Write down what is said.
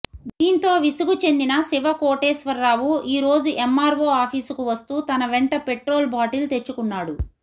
దీంతో విసుగు చెందిన శివ కోటేశ్వరరావు ఈరోజు ఎమ్మార్వో ఆఫీసుకు వస్తూ తన వెంట పెట్రోల్ బాటిల్ తెచ్చుకున్నాడు